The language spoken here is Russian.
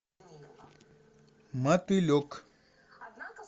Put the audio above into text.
мотылек